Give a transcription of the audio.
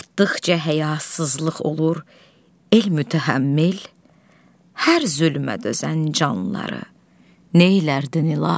Artdıqca həyasızlıq olur, elmütəhəmmil hər zülmə dözən canlıları neylərdin, İlahi?